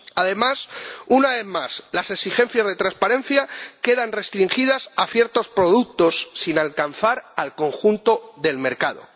Además, una vez más, las exigencias de transparencia quedan restringidas a ciertos productos, sin alcanzar al conjunto del mercado.